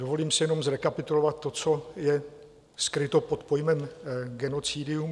Dovolím si jenom zrekapitulovat to, co je skryto pod pojmem genocidium.